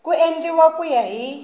ku endliwa ku ya hi